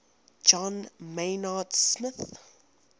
john maynard smith